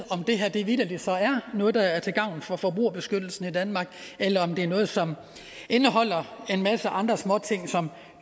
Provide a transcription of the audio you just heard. om det her så vitterlig er noget der er til gavn for forbrugerbeskyttelsen i danmark eller om det er noget som indeholder en masse andre småting som